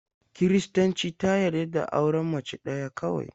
Kiristanci ta yarda da auren mace ɗaya kawai.